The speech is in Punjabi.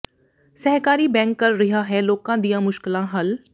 ਸਹਿਕਾਰੀ ਬੈਂਕ ਕਰ ਰਿਹਾ ਹੈ ਲੋਕਾਂ ਦੀਆਂ ਮੁਸ਼ਕਲਾਂ ਹੱਲ